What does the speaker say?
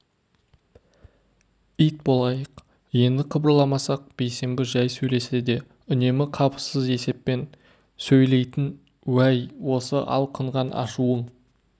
ит болайық енді қыбырламасақ бейсенбі жай сөйлесе де үнемі қапысыз есеппен сөйлейтін уәй осы алқынған ашуың